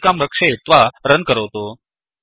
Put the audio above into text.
सञ्चिकां रक्षयित्वा रन् करोतु